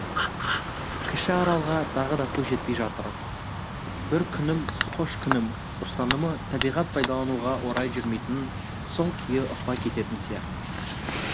кіші аралға тағы да су жетпей жатыр бір күнім қош күнім ұстанымы табиғат пайдалануға орай жүрмейтінін сол күйі ұқпай кететін сияқтымыз